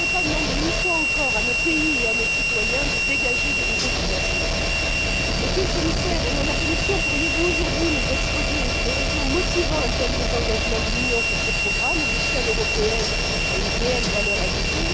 On ne peut pas demander, une fois encore, à nos pays et à nos citoyens de dégager de nouveaux financements. Monsieur le Commissaire, au nom de la Commission, pourriez vous aujourd'hui nous exposer les raisons motivant un tel désengagement de l'Union vis à vis de ces programmes où l'échelle européenne a une réelle valeur ajoutée?